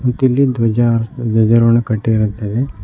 ಮತ್ತಿಲ್ಲಿ ಧ್ವಜ ಹರ್ಸ್ ಧ್ವಜ ರೋಹಣೆ ಕಟ್ಟಿರುತ್ತದೆ.